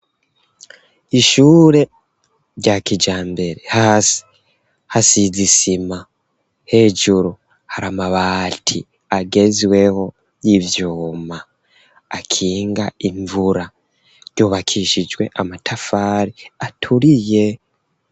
Ishure rya kijambere, hasi hasizisima hejuru hari amabati agezweho, y'ivyuma akinga imvura yubakishijwe amatafari aturiye.